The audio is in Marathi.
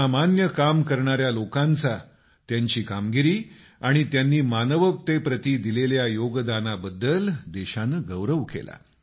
असामान्य काम करणाऱ्या लोकांचा त्यांची कामगिरी आणि मानवतेप्रति त्यांनी दिलेल्या योगदानाबद्दल देशानं गौरव केला